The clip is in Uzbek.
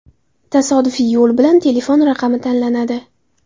Tasodifiy yo‘l bilan telefon raqami tanlanadi.